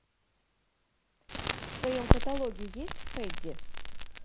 в твоем каталоге есть фредди